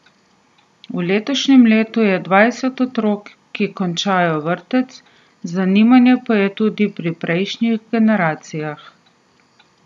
V letošnjem letu je dvajset otrok, ki končujejo vrtec, zanimanje pa je tudi pri prejšnjih generacijah.